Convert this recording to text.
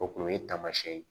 O kun ye taamasiyɛn ye